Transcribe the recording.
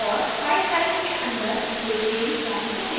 और file type के अंदर jframe form चुनें